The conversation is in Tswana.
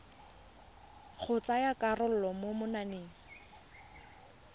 go tsaya karolo mo mananeng